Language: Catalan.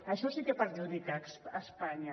això sí que perjudica espanya